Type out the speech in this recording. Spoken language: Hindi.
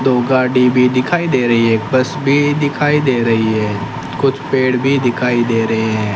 दो गाड़ी भी दिखाई दे रही है एक बस भी दिखाई दे रही है कुछ पेड़ भी दिखाई दे रहे हैं।